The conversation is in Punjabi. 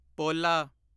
ਪੋਲਾ